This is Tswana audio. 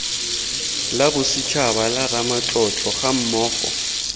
la bosetshaba la ramatlotlo gammogo